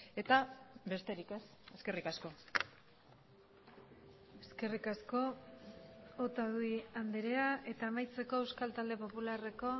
eta besterik ez eskerrik asko eskerrik asko otadui andrea eta amaitzeko euskal talde popularreko